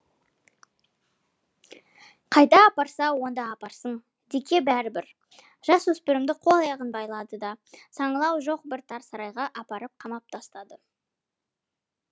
қайда апарса онда апарсын дикке бәрібір жасөспірімді қол аяғын байлады да саңылауы жоқ бір тар сарайға апарып қамап тастады